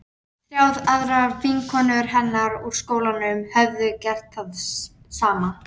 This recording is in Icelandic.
Þrjár aðrar vinkonur hennar úr skólanum höfðu gert það sama.